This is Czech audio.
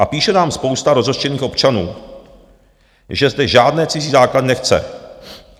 A píše nám spousta rozhořčených občanů, že zde žádné cizí základny nechce.